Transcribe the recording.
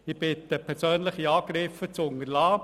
Ich bitte darum, persönliche Angriffe zu unterlassen.